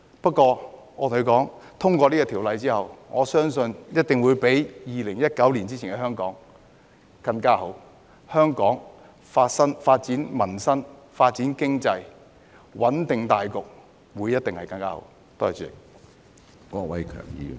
不過，我又跟他們說，《條例草案》通過後，相信一定會比2019年前的香港更加好，香港可以關顧民生、發展經濟、穩定大局，一定會更加好。